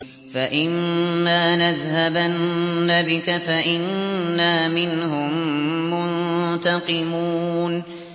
فَإِمَّا نَذْهَبَنَّ بِكَ فَإِنَّا مِنْهُم مُّنتَقِمُونَ